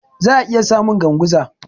Za'a iya samu Ganguza.